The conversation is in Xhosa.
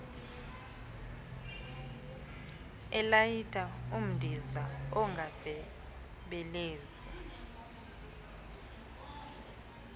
elayita umdiza unganyebelezeli